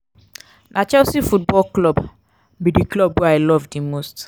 na chelsea football club be di club wey i love di most.